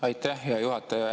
Aitäh, hea juhataja!